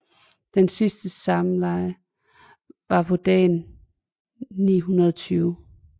Den sidste samleje var på dagen 920